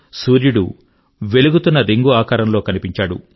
సూర్యుడు వెలుగుతున్న రింగ్ ఆకారంలో కనిపించాడు